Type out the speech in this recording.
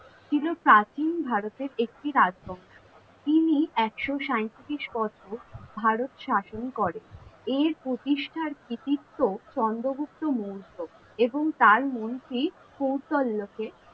ছিল প্রাচীন ভারতের একটি রাজবংশ। তিনি একশো সাইতিরিশ বছর ভারত শাসন করেন এই প্রতিষ্ঠার কৃতিত্ত্ব চন্দ্রগুপ্ত মৌর্য এবং তার মন্ত্রী কৌটল্য কে,